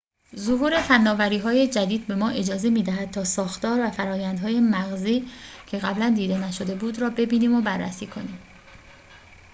ظهور فناوری‌های جدید به ما اجازه می‌دهد تا ساختار و فرآیندهای مغزی که قبلاً دیده نشده بود را ببینیم و بررسی کنیم